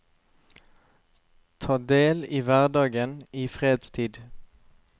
Ta del i hverdagen i fredstid.